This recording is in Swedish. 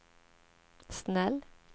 snäll